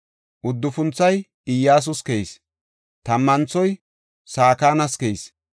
Uddufunthoy Iyyasus keyis. Tammanthoy Sakanas keyis.